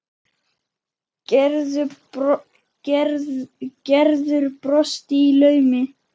Gerður brosti í laumi.